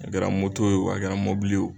A kɛra moto ye o a kɛra mobili ye o